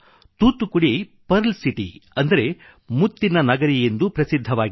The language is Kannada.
ತೂತ್ತುಕುಡಿ ಪರ್ಲ್ ಸಿಟಿ ಅಂದರೆ ಮುತ್ತಿನ ನಗರಿಯೆಂದೂ ಪ್ರಸಿದ್ಧವಾಗಿದೆ